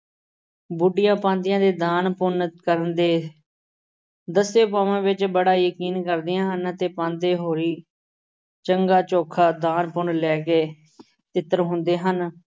ਬੁੱਢੀਆਂ ਪਾਂਧੀਆਂ ਦੇ ਦਾਨ ਪੁੰਨ ਕਰਨ ਦੇ ਦੱਸੇ ਉਪਾਵਾਂ ਵਿੱਚ ਬੜਾ ਯਕੀਨ ਕਰਦੀਆਂ ਹਨ ਤੇ ਪਾਂਧੇ ਹੋਰੀਂ ਚੰਗਾ ਚੋਖਾ ਦਾਨ-ਪੁੰਨ ਲੈ ਕੇ ਤਿੱਤਰ ਹੁੰਦੇ ਹਨ।